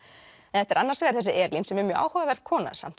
þetta er annars vegar þessi Elín sem er mjög áhugaverð kona